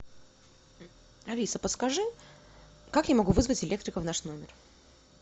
алиса подскажи как я могу вызвать электрика в наш номер